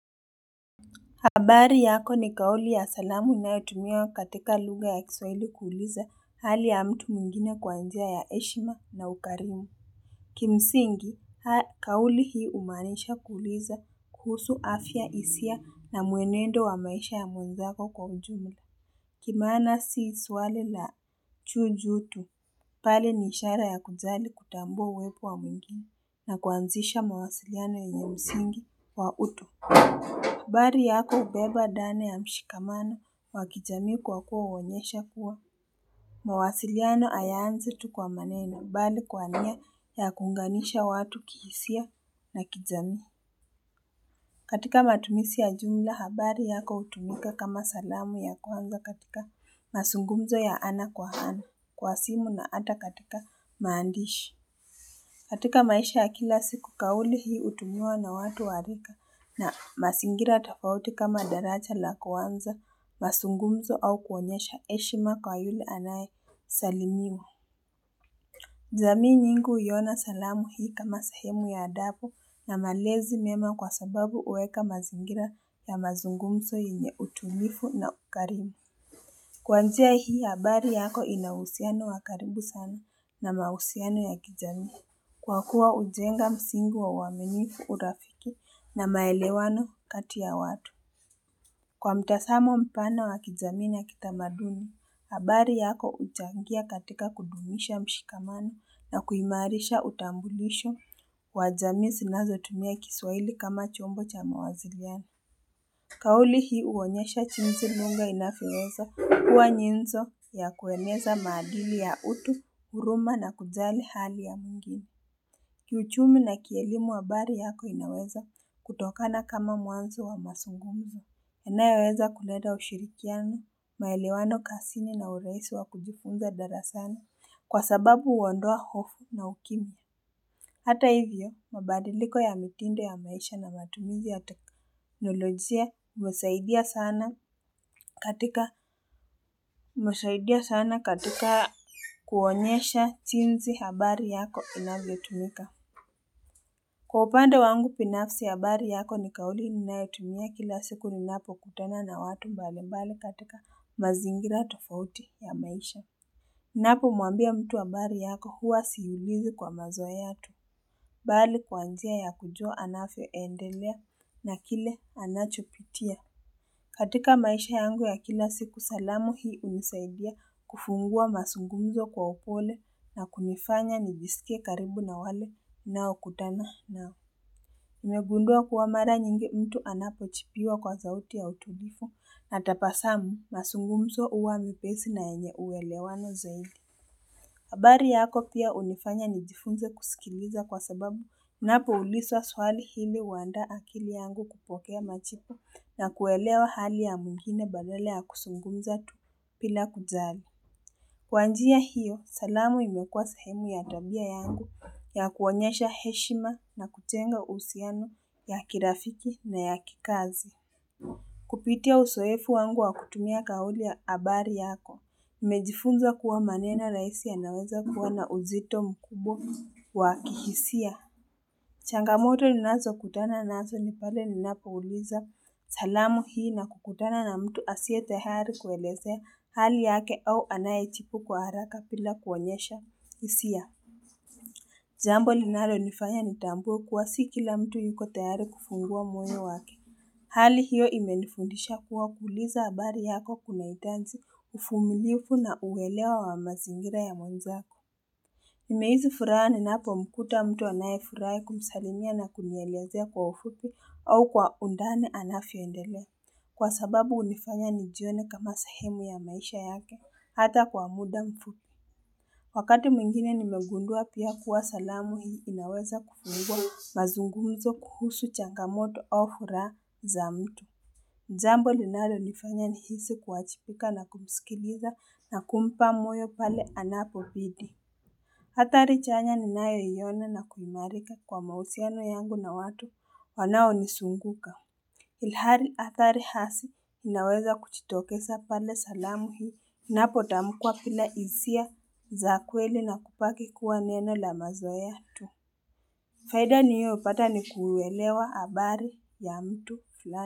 Habari yako ni kauli ya salamu inayotumia katika lugha ya kiswahli kuuliza hali ya mtu mwingine kwa njia ya eshima na ukarimu Kimsingi haa kauli hii umanisha kuuliza kuhusu afya isia na muenendo wa maisha ya mwenzako kwa ujumla Kimaana si swali la chujutu pale ni ishara ya kujali kutambua uwepo wa mwingine na kuanzisha mawasiliano yenye msingi wa utu habari yako ubeba dane ya mshikamano wa kijami kwa kuwa uonyesha kuwa mawasiliano ayaanzi tu kwa maneno bali kwa nia ya kunganisha watu kihisia na kijami katika matumizi ya jumla habari yako utumika kama salamu ya kuanga katika masungumzo ya ana kwa hana kwa simu na ata katika maandishi katika maisha ya kila siku kauli hii utumiwa na watu wa rika na masingira tofauti kama daraja la kwanza, masungumzo au kuonyesha eshima kwa yule anayesalimiwa. Jami nyingi huiona salamu hii kama sahemu ya adabu na malezi mema kwa sababu uweka mazingira ya mazungumzo yenye utumifu na ukarimi. Kwa njia hii habari yako inauhusiano wa karibu sana na mausiano ya kijani. Kwa kuwa ujenga msingi wa uaminifu urafiki na maelewano kati ya watu. Kwa mtasamo mpana wa kijami na kitamaduni, habari yako ujangia katika kudumisha mshikamani na kuimarisha utambulisho. Kwa jami sinazotumia kiswaili kama chombo cha mawaziriani. Kauli hii uonyesha chinzi lugha inavyoweza kuwa nyenzo ya kueneza madili ya utu, uruma na kujali hali ya mwingine Kiuchumi na kielimu habari yako inaweza kutokana kama mwanzo wa masungumzi. Inayoweza kuleta ushirikiano, maelewano kasini na uraisi wa kujifunza darasani kwa sababu uondoa hofu na ukimya. Hata hivyo, mabadiliko ya mitindo ya maisha na matumizi ya teknolojia husaidia sana katika kuonyesha jinzi habari yako inavyotumika. Kwa upande wangu pinafsi habari yako ni kauli ninayotumia kila siku ninapokutana na watu mbali mbali katika mazingira tofauti ya maisha. Napo mwambia mtu habari yako huwa siulizi kwa mazoea tu. Bali kwa njia ya kujua anavyoendelea na kile anachopitia. Katika maisha yangu ya kila siku salamu hii unisaidia kufungua masungunzo kwa upole na kunifanya nijisike karibu na wale naokutana nao. Nimegundwa kuwa mara nyingi mtu anapochipiwa kwa sauti ya utulifu na tapasamu masungumzo uwa mepesi na enye uwelewano zaidi. Habari yako pia unifanya nijifunze kusikiliza kwa sababu unapouliswa swali hili uanda akili yangu kupokea machipu na kuelewa hali ya mwingine badala ya kusungumza tu pila kuzali. Kwa njia hiyo, salamu imekuwa sehemu ya tabia yangu ya kuonyesha heshima na kuchenga uhusiano ya kirafiki na ya kikazi. Kupitia usoefu wangu wa kutumia kauli ya abari yako. Mejifunza kuwa manena raisi yanaweza kuwa na uzito mkubwa wa kihisia. Changamoto ninazokutana nazo ni pale ninapouliza salamu hii na kukutana na mtu asie tehari kueleze hali yake au anayechipu kwa haraka pila kuwanyesha isia. Jambo linalonifanya nitambue kuwa si kila mtu yuko tehari kufungua moyo wake. Hali hiyo imenifundisha kuwa kuuliza abari yako kuna itaji uvumilivu na uwelewa wa mazingira ya mwenzako. Nimehisi furaha ninapomkuta mtu anayefurai kumsalimia na kunielezea kwa ufupi au kwa undane anavyoendelea. Kwa sababu unifanya nijione kama sahemu ya maisha yake hata kwa muda mfupi. Wakati mwingine nimegundua pia kuwa salamu hii inaweza kufungwa mazungumzo kuhusu changamoto au furaha za mtu. Jambo linalonifanya nihisi kuachipika na kumsikiliza na kumpa moyo pale anapobidi. Atari chanya ninayoiona na kuimarika kwa mausiano yangu na watu wanaonisunguka. Ilhari atari hasi inaweza kuchitokesa pale salamu hii inapotamukua pila izia za kweli na kupaki kuwa neno la mazoa tu. Faida niliopata ni kuuelewa abari ya mtu la.